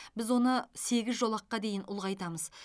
біз оны сегіз жолаққа дейін ұлғайтамыз